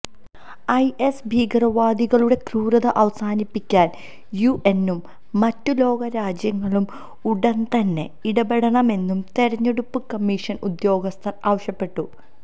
is ഭീകരവാദികളുടെ ക്രൂരത അവസാനിപ്പിക്കാന് യുഎന്നും മറ്റു ലോകരാജ്യങ്ങളും ഉടന്തന്നെ ഇടപെടണമെന്നു തെരഞ്ഞെടുപ്പു കമ്മീഷന് ഉദ്യോഗസ്ഥര് ആവശ്യപ്പെട്ടു